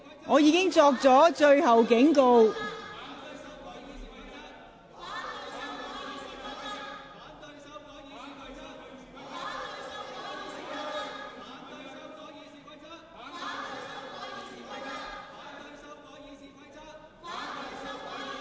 我已作出最後警告。